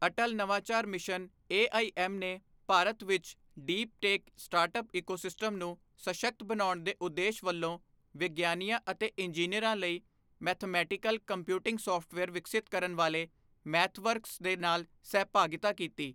ਅਟਲ ਨਵਾਚਾਰ mission AIM ਨੇ ਭਾਰਤ ਵਿੱਚ ਡੀਪ ਟੇਕ ਸਟਾਰਟਅਪ ਇਕੋਸਿਸਟਮ ਨੂੰ ਸਸ਼ਕਤ ਬਣਾਉਣ ਦੇ ਉਦੇਸ਼ ਵਲੋਂ ਵਿਗਿਆਨੀਆਂ ਅਤੇ ਇੰਜੀਨੀਅਰਾਂ ਲਈ ਮੈਥਮੇਟਿਕਲ ਕੰਪਿਊਟਿੰਗ ਸਾਫਟਵੇਅਰ ਵਿਕਸਿਤ ਕਰਨ ਵਾਲੇ ਮੈਥਵਰਕਸ ਦੇ ਨਾਲ ਸਹਿਭਾਗਿਤਾ ਕੀਤੀ।